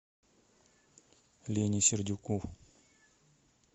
лене сердюку